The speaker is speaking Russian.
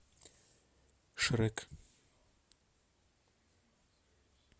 шрек